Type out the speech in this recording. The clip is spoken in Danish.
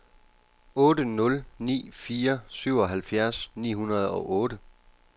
otte nul ni fire syvoghalvfjerds ni hundrede og otte